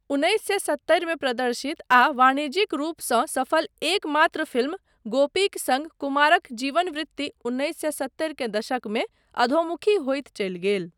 उन्नैस सए सत्तरिमे प्रदर्शित आ वाणिज्यिक रूपसँ सफल एकमात्र फिल्म 'गोपी'क सङ्ग कुमारक जीवन वृत्ति उन्नैस सए सत्तरि के दशकमे अधोमुखी होइत चलि गेल।